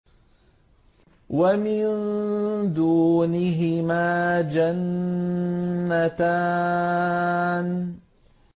وَمِن دُونِهِمَا جَنَّتَانِ